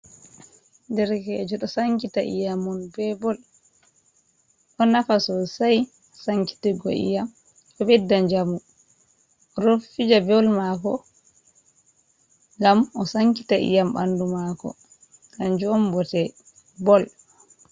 Derkejo ɗo sankita iyamun be bol, ɗo nafa sosai sankitigo iyam ɗo ɓedda njamu oɗo fija bol mako gam o sankita iyam ɓandu mako kanjum on bote bol.